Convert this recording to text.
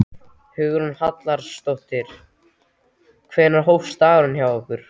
Hugrún Halldórsdóttir: Hvenær hófst dagurinn hjá ykkur?